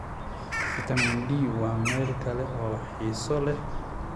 Faytamiin D waa meel kale oo xiiso leh.